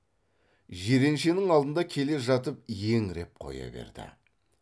жиреншенің алдында келе жатып еңіреп қоя берді